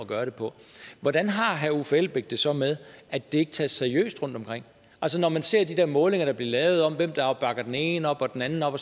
gøre det på hvordan har herre uffe elbæk det så med at det ikke tages seriøst rundtomkring altså når man ser de der målinger der bliver lavet af hvem der bakker den ene op og den anden op og